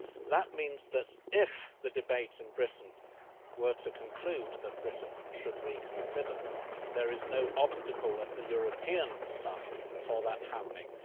That means that, if the debates in Britain were to conclude that Britain should reconsider, there is no obstacle from the European side to that happening.